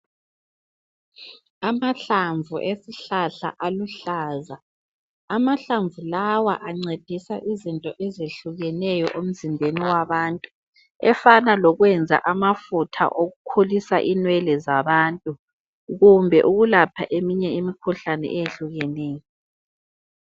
Amahlamvu esihlahla aluhlaza. Amahlamvu lawa ancedisa izinto ezehlukeneyo emzimbeni wabantu, efana lokwenza amafutha okukhulisa inwele zabantu, kumbe ukulapha eminye imikhuhlane eyehlukeneyo.